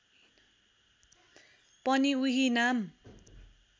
पनि उही नाम